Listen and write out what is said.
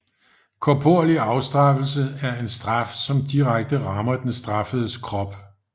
Korporlig afstraffelse er en straf som direkte rammer den straffedes krop